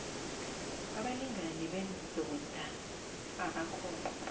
abalingani bendoda abakhona